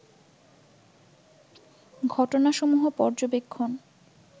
ঘটনাসমূহ পর্যবেক্ষণ